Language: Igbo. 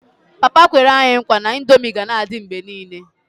Papa kwere anyi nkwa na ndomi gana adi mgbe nile